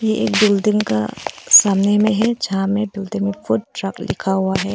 एक बिल्डिंग का सामने में है जहां में बिल्डिंग में फूड ट्रक लिखा हुआ है।